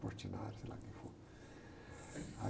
Portinari, sei lá quem foi.